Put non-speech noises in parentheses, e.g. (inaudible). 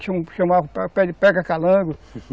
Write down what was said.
Tinha um (unintelligible) de pega calango (laughs)